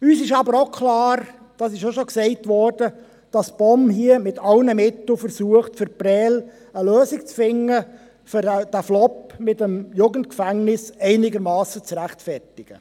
Uns ist aber auch klar – das wurde auch schon gesagt –, dass die POM hier mit allen Mitteln versucht, für Prêles eine Lösung zu finden, um den Flop mit dem Jugendgefängnis einigermassen zu rechtfertigen.